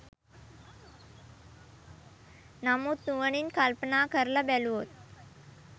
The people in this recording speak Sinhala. නමුත් නුවණින් කල්පනා කරලා බැලුවොත්